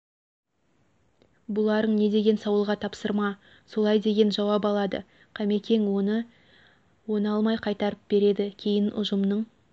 бұларың не деген сауалға тапсырма солай деген жауап алады кемекең оны алмай қайтарып береді кейін ұжымның